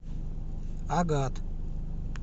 агат